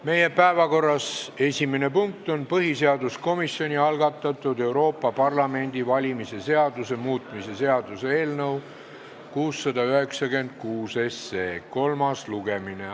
Meie päevakorra esimene punkt on põhiseaduskomisjoni algatatud Euroopa Parlamendi valimise seaduse muutmise seaduse eelnõu 696 kolmas lugemine.